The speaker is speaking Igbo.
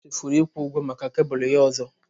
Dera chefuru ịkwụ ụgwọ maka kebụlụ ya ọzọ.